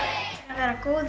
að vera góður